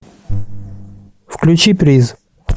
включи приз